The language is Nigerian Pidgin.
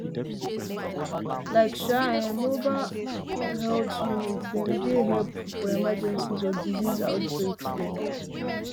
like [um][um]mobile ah health units dem dey helpful for emergencies or disease outbreak dem